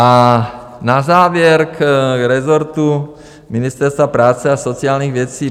A na závěr k rezortu Ministerstva práce a sociálních věcí.